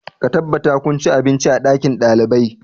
Ka tabbata kun ci abinci a ɗakin ɗalibai!